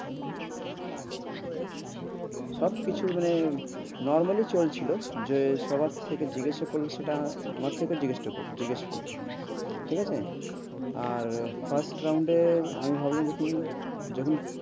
উম সব কিছু মানে normal ই চলছিল যে সবার থেকে জিজ্ঞাসা করল সেটা, আমাকেও তো জিজ্ঞাসটা করল জিজ্ঞাসা করল ঠিক আছে, আর first round এ আমি ভাবলাম যখন